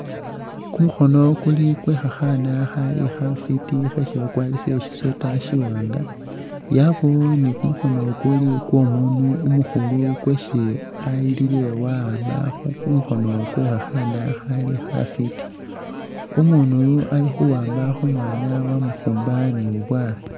Kumukhono kuli kwekhakhana khali khafiti khesi bakwarisile shi'sweater shiwanga yabawo ni kumukhono kuli kwomundu umukhulu kwesi ayilile wakhamba khumukhono kwe khakhana khali khafiti umundu yu alikhuwamba khumwana wamufumba ni bubwala.